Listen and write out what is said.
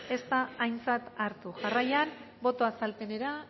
ez da aintzat hartu jarraian boto azalpenera